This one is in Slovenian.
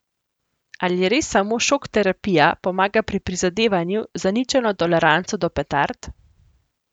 Ali res samo šokterapija pomaga pri prizadevanju za ničelno toleranco do petard?